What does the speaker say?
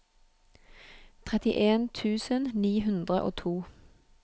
trettien tusen ni hundre og to